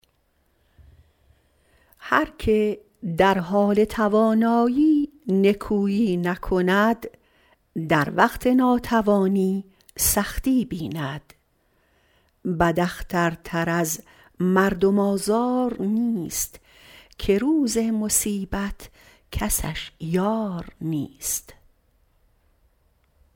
هر که در حال توانایی نکویی نکند در وقت ناتوانی سختی بیند بد اختر تر از مردم آزار نیست که روز مصیبت کسش یار نیست